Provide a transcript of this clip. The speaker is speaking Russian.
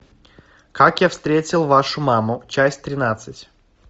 как я встретил вашу маму часть тринадцать